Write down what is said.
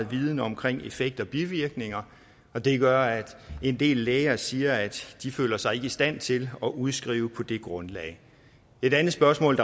viden omkring effekt og bivirkninger og det gør at en del læger siger at de ikke føler sig i stand til at udskrive på det grundlag et andet spørgsmål